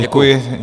Děkuji.